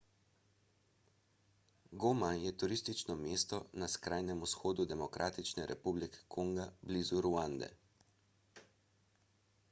goma je turistično mesto na skrajnem vzhodu demokratične republike kongo blizu ruande